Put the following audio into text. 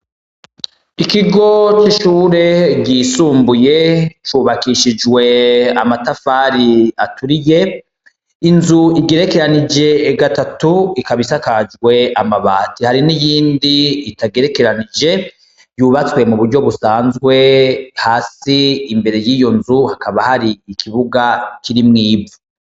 Ikigo c'ishure ryisumbuye cubakishijwe amatafari aturiye, inzu igerekeranije gatatu ikaba isakajwe amabati, hari niyindi itagerekeranije yubatswe muburyo busazwe, hasi imbere yiyo nzu hakaba hari ikibuga kirimwo ivu.